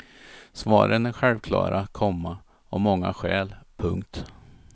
Svaren är självklara, komma av många skäl. punkt